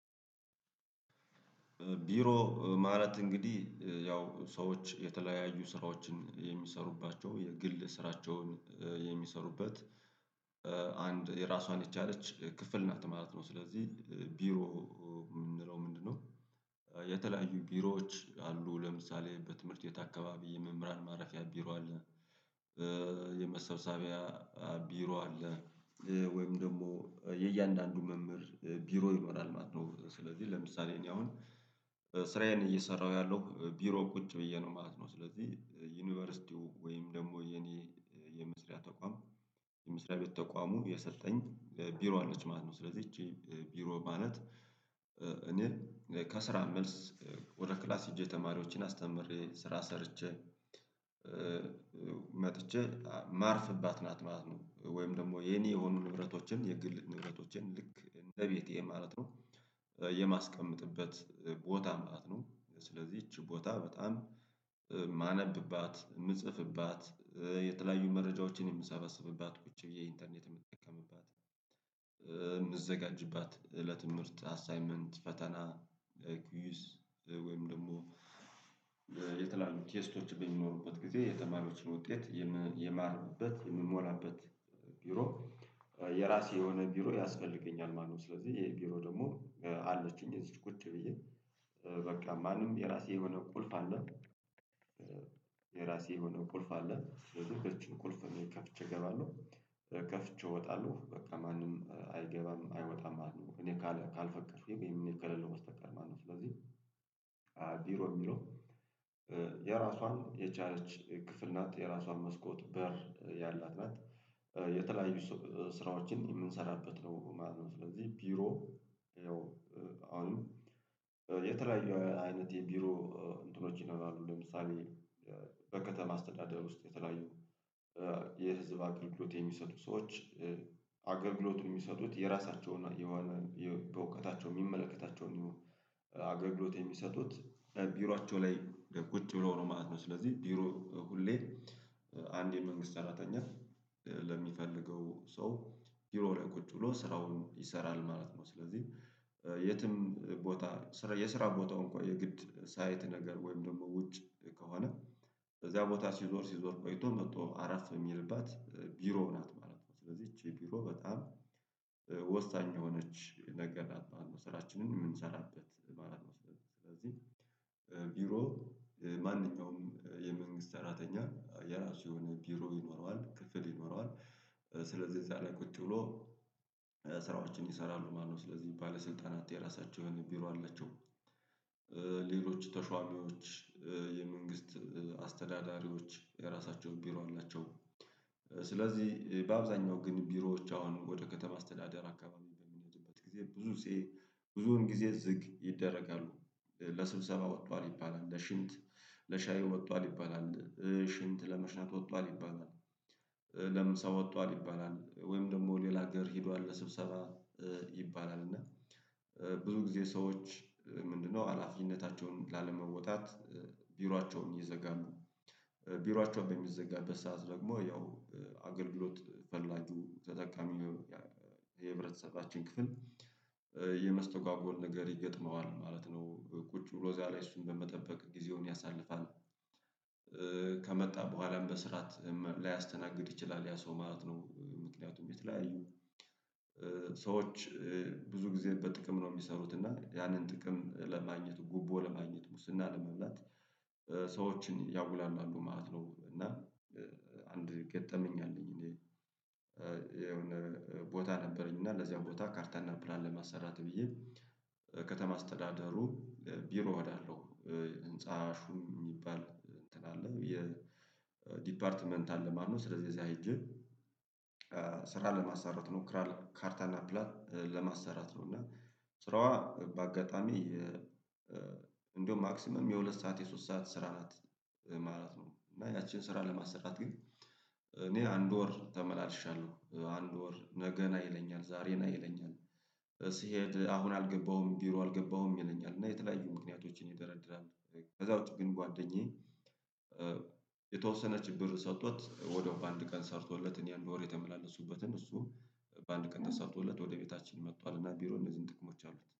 ቢሮ ማለት እንግዲህ ያው ሰዎች የተለያዩ ስራዎችን የሚሰሩባቸው የግል ስራቸውን የሚሰሩበት። አንድ የራሷን የቻለች ክፍል ናት ትምህርት ነው ስለዚህ ቢሮ የምንለው ምንድነው? የተለያዩ ቢሮዎች አሉ ለምሳሌ በትምህርት ቤት አካባቢ የመምህራን ማረፊያ ቢሮ አለ። የመሰብሰቢያ አሉ ቢሮ አለ። ወይም ደግሞ የእያንዳንዱ መምህር ቢሮ ይኖራል ማለት ነው። ስለዚህ ለምሳሌ እኔ አሁን ስራዬን እየሰራሁ ያለው ቢሮ ቁጭ ብዬ ነው ማለት ነው። ስለዚህ ዩኒቨርሲቲው ወይም ደግሞ የኔ የምስሪያ ተቋም የምስሪያ ቤት ተቋሙ የሰጠኝ ቢሮ አለች ማለት ነው። ስለዚህ ይቺ ቢሮ ማለት እኔ ከስራ መልስ ወደ ክላስ ሄጄ ተማሪዎችን አስተምሬ ስራ ሰርቼ መጥቼ ማርፍባት ናት ማለት ነው። ወይም ደግሞ የኔ የሆኑ ንብረቶችን የግል ንብረቶችን ልክ እንደ ቤቴ ማለት ነው። የማስቀምጥበት ቦታ መጣት ነው ስለዚህ እቺ ቦታ በጣም ማነብባት ምጽፍባት የተለያዩ መረጃዎችን የምሰበስብባት ቁጭ ብዬ ኢንተርኔት የምጠቀምባት። የምዘጋጅባት እለት ምርት አሳይመንት ፈተና ኪዩስ ወይም ደግሞ ቴስቶች በሚኖሩበት ጊዜ የተማሪዎችን ውጤት የማርበት የምሞላበት ቢሮ የራሴ የሆነ ቢሮ ያስፈልገኛል ማለት ነው። ስለዚህ ይሄ ቢሮ ደግሞ አለችኝ ቁጭ ብዬ በቃ ማንም የራሴ የሆነ ቁልፍ አለ። የራሴ የሆነ ቁልፍ አለ በዚህ በዚህ ቁልፍ እኔ ከፍቼ እገባለሁ ከፍቼ እወጣለሁ በቃ ማንም አይገባም አይወጣም እኔ ካልፈቀድኩኝ ወይም ከሌለው በስተቀሮ ማለት ነው። ስለዚህ ቢሮ የሚለው የራሷን የቻርጅ ክፍል ናት የራሷን መስኮት በር ያላት ናት። የተለያዩ ስራዎችን የምንሰራበት ነው ማለት ነው ስለዚህ ቢሮ ይኸው አሁንም የተለያዩ አይነት የቢሮ እንትኖች ይኖራሉ ለምሳሌ በከተማ አስተዳደር ውስጥ የተለያዩ የህዝብ አገልግሎት የሚሰጡ ሰዎች አገልግሎቱን የሚሰጡት የራሳቸውን በእውቀታቸው የሚመለከታቸውን አገልግሎት የሚሰጡት ቢራቸው ላይ ቁጭ ብሎ ነው ማለት ነው። ስለዚህ ቢሮ ሁሌ አንድ የመንግስት ሰራተኛ ለሚፈልገው ሰው ቢሮ ላይ ቁጭ ብሎ ስራውን ይሰራል ማለት ነው። ስለዚህ የትም ቦታ የስራ ቦታው እንኳን የግድ ሳይት ነገር ወይም ደግሞ ውጭ ከሆነ በዚያ ቦታ ሲዞር ሲዞር ቆይቶ መጥቶ አራት የሚልባት ቢሮ ናት ማለት ነው። ስለዚህ ይቺ ቢሮ በጣም ወሳኝ የሆነች ነገር ላጥማለሁ ስራችንን የምንሰራበት ማለት ነው። ስለዚህ ስለዚህ ቢሮ ማንኛውም የመንግስት ሰራተኛ የራሱ የሆነ ቢሮ ይኖረዋል ክፍል ይኖረዋል። ስለዚህ እዛ ላይ ቁጭ ብሎ ስራዎችን ይሰራሉ ማለት ነው። ስለዚህ ባለስልጣናት የራሳቸው የሆነ ቢሮ አለችው አላቸው። ሌሎች ተሾሙዎች የመንግስት አስተዳዳሪዎች የራሳቸው ቢሮ አላቸው። ስለዚህ በአብዛኛው ግን ቢሮዎች አሁን ወደ ከተማ አስተዳደር አካባቢ በሚመጡበት ጊዜ ብዙ ብዙውን ጊዜ ዝቅ ይደረጋሉ ለስብሰባ ወጥቷል ይባላል ለሽምት ለሻዩ ወጥቷል ይባላል። ሽንት ለመሽናት ወጥቷል ይባላል ለምን ሰው ወጥቷል ይባላል ወይም ደግሞ ሌላ ሀገር ሄዷል ለስብሰባ ይባላል። እና ብዙ ጊዜ ሰዎች ምንድነው ሀላፊነታቸውን ላለመወጣት ቢሯቸውን ይዘጋሉ። ቢሯቸው በሚዘጋበት ሰዓት ደግሞ ያው አገልግሎት ፈላጊው ተጠቃሚ የህብረተሰባችን ክፍል የመስተጎገል ነገር ይገጥመዋል ማለት ነው። ቁጭ ብሎ ዛሬ እሱን በመጠበቅ ጊዜውን ያሳልፋል ከመጣ በኋላም በስራት ላያስተናግድ ይችላል ያ ሰው ማለት ነው። ምክንያቱም የተለያዩ ሰዎች ብዙ ጊዜ በጥቅም ነው የሚሰሩት እና ያንን ጥቅም ለማግኘት ጉቦ ለማግኘት ሙስና ለመብላት ሰዎችን ያጉላላሉ ማለት ነው። እና አንድ ገጠመኝ አለኝ እኔ የሆነ ቦታ ነበረኝ እና ለዚያ ቦታ ካርታና ፕላን ለማሰራት ብዬ ከተማ አስተዳደሩ ቢሮ እሄዳለው ህንፃ ሹም የሚባል እንትን አለ የዲፓርትመንት አለ ማለት ነው ስለዚህ ጊዜ ሂጄ ስራ ለማሰራት እሞክራለው ካርታና ፕላን ለማሰራት ነው። እና ስራዋ በአጋጣሚ እንደውም ማክሲመም የሁለት ሰዓት የሶስት ሰዓት ስራ ማለት ነው። እና ያቺን ስራ ለማሰራት ግን እኔ አንድ ወር ተመላልሻለሁ አንድ ወር ነገን አይለኝም ዛሬን አይለኝም ስሄድ አሁን አልገባሁም ቢሮ አልገባሁም ይለኛል እና የተለያዩ ምክንያቶችን ይደረድራል። ከዛ ውጪ ግን ጓደኛዬ የተወሰነ ብር ሰጥቶት ወዲያው በአንድ ቀን ሰርቶለት እኔ አንድ ወር የተመላለሱበትን እሱ በአንድ ቀን ተሰርቶ እለት ወደ ቤታችን መጥቷል እና ቢሮ እነዚህን ጥቅሞች አሉት